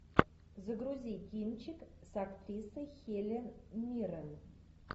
загрузи кинчик с актрисой хелен миррен